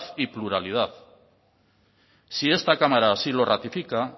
y pluralidad si esta cámara así lo ratifica